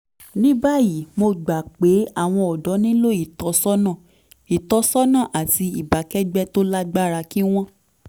ní báyìí mo gbà pé àwọn ọ̀dọ́ nílò ìtọ́sọ́nà ìtọ́sọ́nà àti ìbákẹ́gbẹ́ tó lágbára kí wọ́n